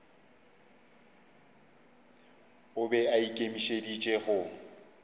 o be a ikemišeditše go